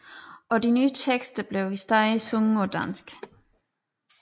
Og de nye tekster blev i stedet sunget på dansk